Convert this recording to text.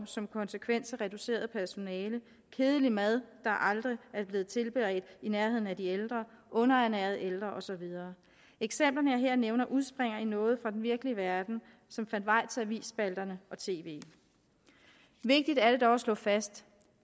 som konsekvens af reduceret personale kedelig mad der aldrig er blevet tilberedt i nærheden af de ældre underernærede ældre og så videre eksemplerne jeg her nævner udspringer i noget fra den virkelige verden som fandt vej til avisspalterne og tv vigtigt er det dog at slå fast